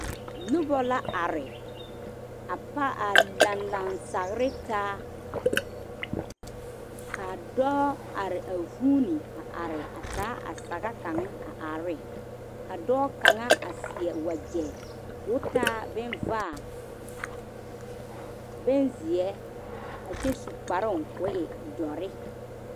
Noba la are a paa lanlan sagre taa ka dɔɔ are a vuune a are a taa a sage kaŋ a are ne ka dɔɔ kaŋa a seɛ wagre ko taa bon vaa ,bonziɛ ka e doɔre.